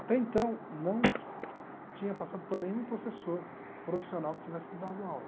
Até então, não tinha passado por nenhum professor profissional que tivesse me dado aula.